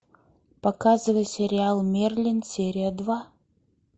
показывай сериал мерлин серия два